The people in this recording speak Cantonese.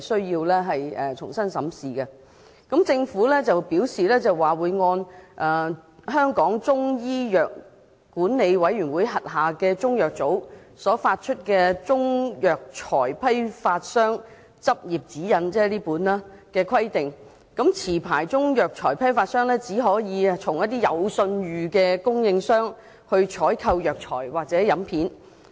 就此，政府表示，按香港中醫藥管理委員會轄下中藥組所發出的《中藥材批發商執業指引》——即我手上這本——的規定，持牌中藥材批發商只可以向有信譽的供應商採購藥材或飲片。